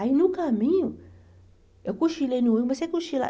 Aí, no caminho, eu cochilei no olho, mas sem cochilar.